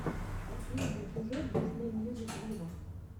последний эпизод дисней мьюзик виво